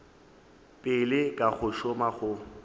pele ka go šoma go